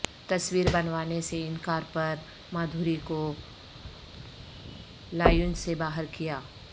تصویر بنوانے سے انکار پر مادھوری کو لائونج سے باہر کیا